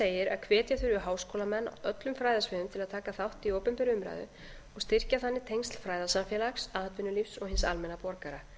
segir að hvetja þurfi háskólamenn á öllum fræðasviðum til að taka þátt í opinberri umræðu og styrkja þannig tengsl fræðasamfélags atvinnulífs og hins almenna borgara